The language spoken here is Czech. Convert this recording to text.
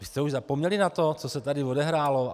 Vy jste už zapomněli na to, co se tady odehrálo?